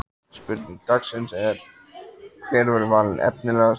Spurning dagsins er: Hver verður valinn efnilegastur?